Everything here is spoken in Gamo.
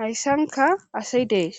hayssanka asi dees